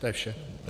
To je vše.